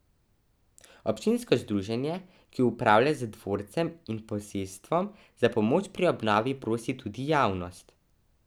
Občinsko združenje, ki upravlja z dvorcem in posestvom, za pomoč pri obnovi prosi tudi javnost.